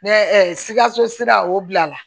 Ne sikaso sira o bila la